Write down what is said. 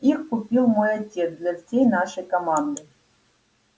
их купил мой отец для всей нашей команды